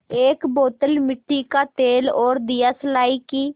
एक बोतल मिट्टी का तेल और दियासलाई की